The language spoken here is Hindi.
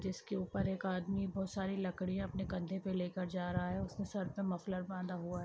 जिसके ऊपर एक आदमी बोहोत सारी लकड़ियाँ अपने कंधे पे लेकर जा रहा है। उसके सर पर मफलर बांधा हुआ है।